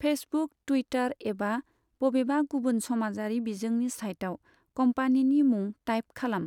Facebook, Twitter एबा बबेबा गुबुन समाजारि बिजोंनि साइटआव कम्पानिनि मुं टाइप खालाम।